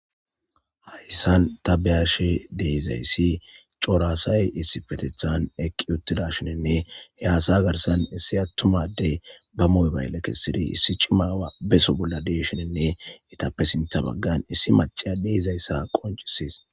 Hayssan ta beyashe deizayssi cora asay issi petethan eqqi uttida shinenne he aasa garsan issi attumadey ba muybaylle kessidi issi cima beso bolla deshinenne itappe sinta baggan issi maciya deizayssa qoncisies.